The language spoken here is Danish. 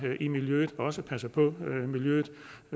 i miljøet og også passer på miljøet